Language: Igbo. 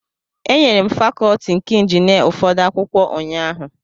Enyere m fakọlti nke injinia ụfọdụ akwụkwọ ụnyahụ.